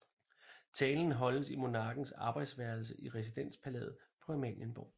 Talen holdes i monarkens arbejdsværelse i residenspalæet på Amalienborg